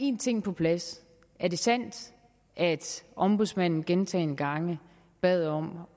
en ting på plads er det sandt at ombudsmanden gentagne gange bad om